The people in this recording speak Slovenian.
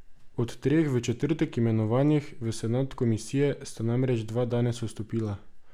Od treh v četrtek imenovanih v senat komisije, sta namreč dva danes odstopila.